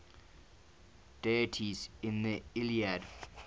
deities in the iliad